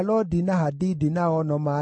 na Keroso, na Siaha, na Padoni,